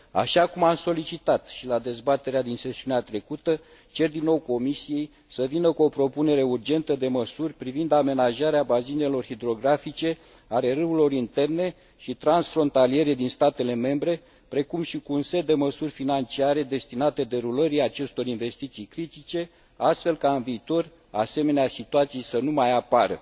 Așa cum am solicitat și la dezbaterea din sesiunea trecută, cer din nou Comisiei să vină cu o propunere urgentă de măsuri privind amenajarea bazinelor hidrografice ale râurilor interne și transfrontaliere din statele membre, precum și cu un set de măsuri financiare destinate derulării acestor investiții critice, astfel ca în viitor asemenea situații să nu mai apară.